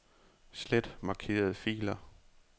Slet markerede filer.